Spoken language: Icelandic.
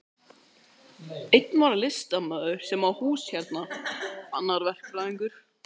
Einn var listamaður sem á hús hérna, annar verkfræðingur.